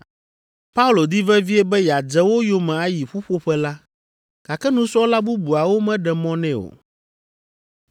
Paulo di vevie be yeadze wo yome ayi ƒuƒoƒe la, gake nusrɔ̃la bubuawo meɖe mɔ nɛ o.